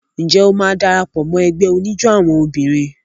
Ǹjẹ́ o máa dara pọ̀ mọ́ ẹgbẹ́ oníjó àwọn obìnrin?